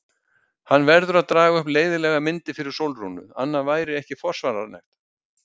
Hann verður að draga upp leiðinlegar myndir fyrir Sólrúnu, annað væri ekki forsvaranlegt.